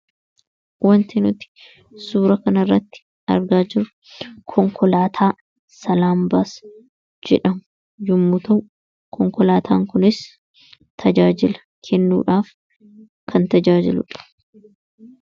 wanti nuti suura kanairratti argaa jirru konkolaataa salaambaas jedhamu yommuuta'u konkolaataa kunis tajaajila kennuudhaaf kan tajaajiludha